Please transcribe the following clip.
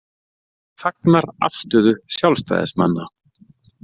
Fagnar afstöðu sjálfstæðismanna